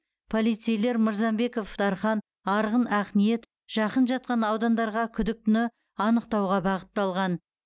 полицейлер мырзамбеков дархан арғын ақниет жақын жатқан аудандарға күдіктіні анықтауға бағытталған